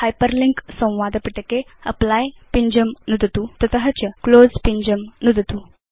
hyperlink संवादपिटके apply पिञ्जं नुदतु तत च क्लोज़ पिञ्जं नुदतु